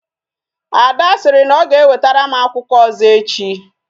Ada sịrị na ọ ga ewetere m akwụkwọ ọzọ echi